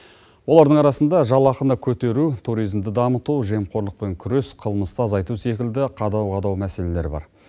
олардың арасында жалақыны көтеру туризмді дамыту жемқорлықпен күрес қылмысты азайту секілді қадау қадау мәселелер бар